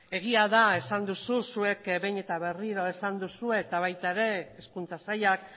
egia da esan duzu zuek behin eta berriro esan duzue eta baita ere hezkuntza sailak